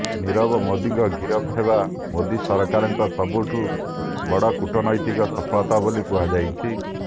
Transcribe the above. ନିରବ ମୋଦିଙ୍କ ଗିରଫ ହେବା ମୋଦି ସରକାରଙ୍କ ସବୁଠୁ ବଡ କୂଟନୈତିକ ସଫଳତା ବୋଲି କୁହାଯାଉଛି